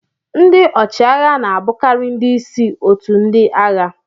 Ndị ọchịagha na-abụkarị ndị isi otu ndị agha